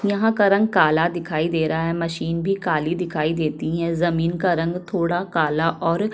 यहाँ का रंग काला दिखाई दे रहा है मशीन भी काली दिखाई दे रहै है जमीन का रंग थोड़ा कला और--